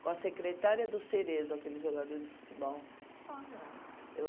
Com a secretária do Cerezo, aquele jogador de futebol.